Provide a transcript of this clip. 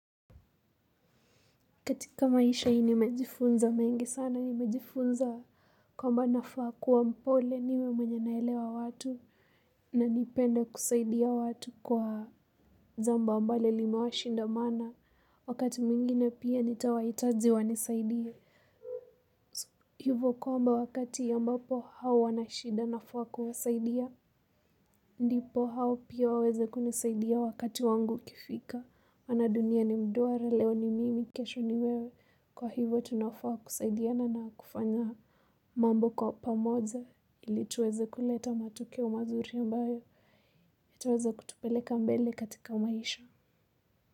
Katika maisha haii nimejifunza mengi sana. Nimejifunza kwamba nafaa kuwa mpole, niwe mwenye nawaelewa watu na kupenda kusaidia watu kwa jambo ambalo limewashinda mno. Wakati mwingine pia nitawahitaji wanisaidie. Hivyo kwamba wakati ambaoo wao wana shida nafaa kuwasaidia. Ndipo hao pia waweze kunisaidia wakati wangu ukifika. Maana dunia ni duara leo ni mimi kesho ni wewe. Kwa hivyo tunafaa kusaidiana na kufanya mambo kwa pamoja ili tuweze kuleta matokeo mazuri. Yataweza kutupeleka mbele katika maisha.